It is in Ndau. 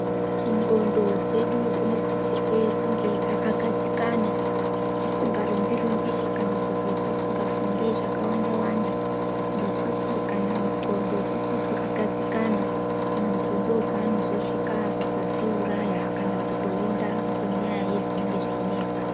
Ndxondo dzedu dzinosisirwe kunge dzakagadzikana dzisingarumbi rumbi kana kuti dzisingafungi zvakawanda ngekuti kana ndxondo dzisisi kugadzikana, muntu ndopanozosvika pakudziuraya kana kutoonda ngenyaya yezvinenge zveinesa.